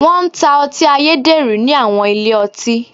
Wọ́n ń ta ọtí ayédèrú ní àwọn ilé ọtí.